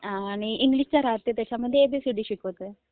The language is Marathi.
हा.. आणि इंग्लिश पण राहाते ज्याच्यामध्ये ओ, बी, सी, डी शिकवते..